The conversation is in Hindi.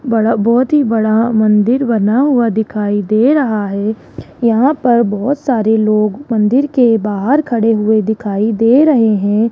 बड़ा बहोत ही बड़ा मंदिर बना हुआ दिखाई दे रहा है यहां पर बहोत सारे लोग मंदिर के बाहर खड़े हुए दिखाई दे रहे हैं।